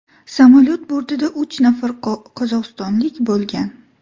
Samolyot bortida uch nafar qozog‘istonlik bo‘lgan.